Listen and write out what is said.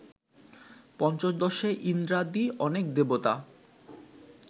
পঞ্চদশে ইন্দ্রাদি অনেক দেবতা